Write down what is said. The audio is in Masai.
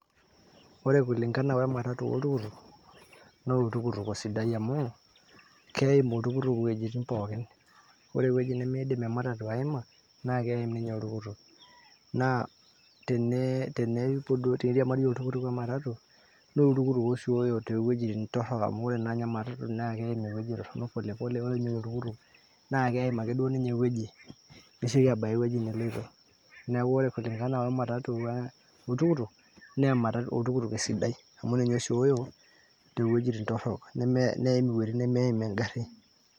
ore kulingana wematatu oltukutuk naa oltukutuk osidai amu keim oltukutuk iwuejitin pookin ore ewueji nimiidim ematatu aima naa keim ninye oltukutuk naa tene tenepuo duo, teniriamari oltukutuk wematatu naa oltukutuk osioyo towuejitin torrok amu ore naa ninye ematatu naa keim naa ewueji torronok polepole ore ninye oltukutuk naa keim ake duo ninye ewueji nesioki abaya ewueji neloito neeku ore kulingana wematatu we, oltukutuk naa oltukutuk osidai amu ninye osioyo tewuejitin torrok neim iwuejitin nemeim engarri.